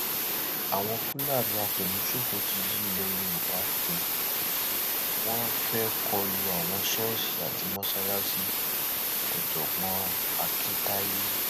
àwọn fúlàní àfẹmíṣòfò ti yí ilẹ yorùbá po ó wọn fẹẹ kọ lu àwọn ṣọọṣì àti mọsáláàsìòjọgbọn akintaye